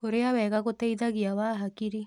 Kũrĩa wega gũteĩthagĩa wa hakĩrĩ